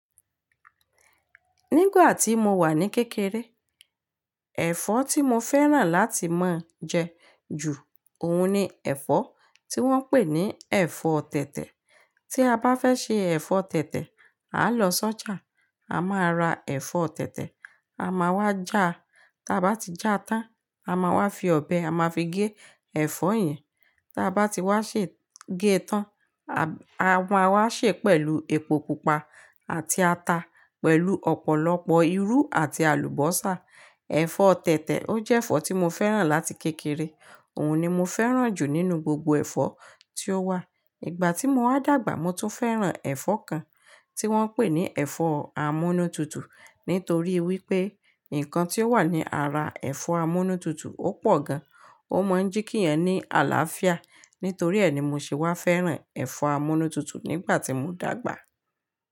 Nígbà tí mo wà ní kékeré, ẹ̀fọ́ tí mo fẹ́ràn láti máa jẹ ju òun ni ẹ̀fọ́ tí wọ́n ń pè ní ẹ̀fọ́ tẹ̀tẹ̀. Tí a bá fẹ́ ṣe ẹ̀fọ́ tẹ̀tẹ̀, aa lọ sọ́jà, a máa ra ẹ̀fọ́ tẹ̀tẹ̀, a máa wá jà á, tí a bá ti jà á tán, a máa wá fi ọbẹ̀, a máa fi gé ẹ̀fọ́ yẹn. Tí a bá ti wá ṣe gé e tán, a máa wá ṣe pẹ̀lú epo pupa àti ata pẹ̀lú ọ̀pọ̀lọpọ̀ irú àti àlùbọ́sà. Ẹ̀fọ́ tẹ̀tẹ̀, ó jẹ́ ẹ̀fọ́ tí mo fẹ́ràn láti kékeré, òun ni mo fẹ́ràn jù nínú gbogbo ẹ̀fọ́ tí ó wà. Ìgbà tí mo wá dàgbà, mo tún fẹ́ràn ẹ̀fọ́ kan tí wọ́n ń pè ní ẹ̀fọ́ amúnútutù. Nítorí wípé nǹkan tí ó wà ní ara ẹ̀fọ́ amúnútutù ó pọ̀ gan, ó mọ̀ ń jí kí ẹ ní àlàáfíà, nítorí ẹ ni mo ṣe wá fẹ́ràn ẹ̀fọ́ amúnútutù nígbà tí mo dàgbà.